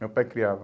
Meu pai criava.